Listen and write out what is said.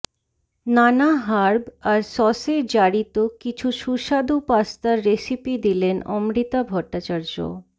নানা হার্ব আর সসে জারিত কিছু সুস্বাদু পাস্তার রেসিপি দিলেন অমৃতা ভট্টাচার্য